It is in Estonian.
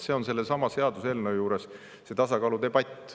See on selle seaduseelnõu puhul see tasakaaludebatt.